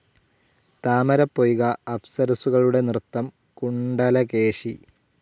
താമരപ്പൊയ്ക, അപ്സരസ്സുകളുടെ നൃത്തം, കുണ്ഡലകേശി.